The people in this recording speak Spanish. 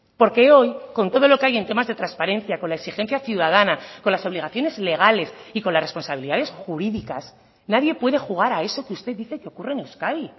porque hoy con todo lo que hay en temas de transparencia con la exigencia ciudadana con las obligaciones legales y con las responsabilidades jurídicas nadie puede jugar a eso que usted dice que ocurre en euskadi